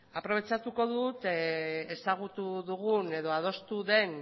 aprobetxatuko dut ezagutu dugun edo adostu den